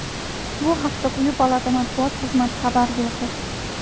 Bu haqda quyi palata matbuot xizmati xabar berdi.